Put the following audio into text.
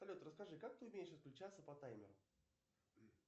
салют расскажи как ты умеешь отключаться по таймеру